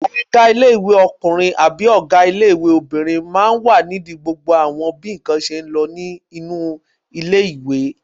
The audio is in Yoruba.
Ọgá ilé-ìwé ọkùnrin àbí ọgá ilé-ìwé obìnrin máa ń wà nídi gbogbo àwọn bí ǹkan ṣe ń lọ nínú ilé-ìwé